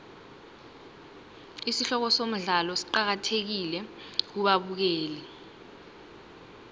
isihloko somdlalo siqakathekile kubabukeli